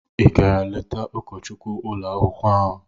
Ị gara leta ụkọchukwu ụlọ akwụkwọ ahụ?